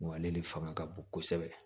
Wa ale de fanga ka bon kosɛbɛ